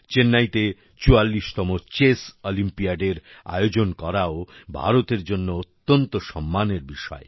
চেন্নাইতে ৪৪ তম চেস অলিম্পিয়াডের আয়োজন করাও ভারতের জন্য অত্যন্ত সম্মানের বিষয়